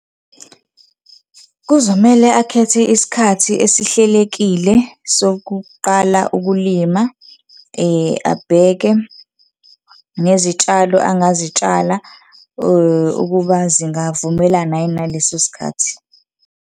Kuzomele akhethe isikhathi esihlelekile sokuqala ukulima, abheke nezitshalo angazitshala ukuba zingavumelana yini naleso sikhathi.